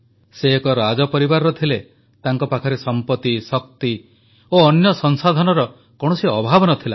ସେ ଏକ ରାଜପରିବାରର ଥିଲେ ତାଙ୍କ ପାଖରେ ସଂପତି ଶକ୍ତି ଓ ଅନ୍ୟ ସଂସାଧନର କୌଣସି ଅଭାବ ନ ଥିଲା